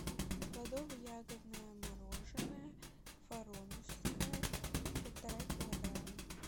плодово ягодное мороженое воронежское полтора килограмма